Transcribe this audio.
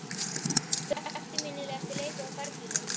Hver er eftirminnilegasti leikurinn á ferlinum?